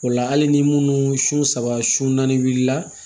O la hali ni munnu sun saba sun naani wulila